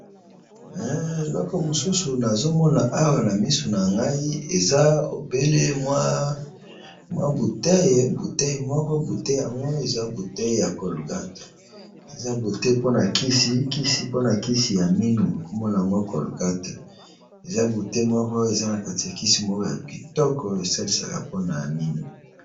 eloko mosusu nazomona awa na misu na ngai eza obele mwa butee butei moko bute yangw eza butei ya colgate eza bute mpona kisi kisi mpona kisi ya minu komona yango colgate eza bute moko eza na kati ya kisi moko ya bitoko esalisaka mpona ya minu